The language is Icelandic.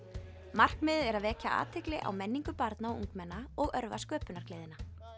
markmiðið er að vekja athygli á menningu barna og ungmenna og örva sköpunargleðina